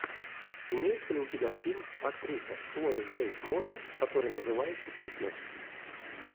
имеется ли у тебя фильм актриса хлоя грейс морец который называется фитнес